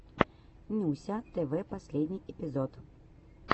нюся тв последний эпизод